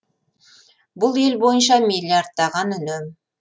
бұл ел бойынша миллиардтаған үнем